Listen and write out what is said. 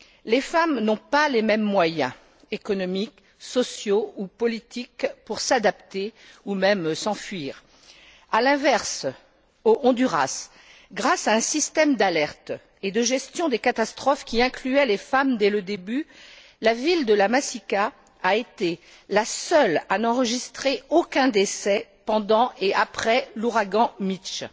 Les femmes n'ont pas les mêmes moyens économiques, sociaux ou politiques pour s'adapter ou même s'enfuir. À l'inverse, au Honduras, grâce à un système d'alerte et de gestion des catastrophes qui incluait les femmes dès le début, la ville de La Masica a été la seule à n'enregistrer aucun décès pendant et après l'ouragan Mitch.